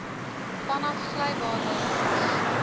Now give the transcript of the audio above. vanaf glybane langs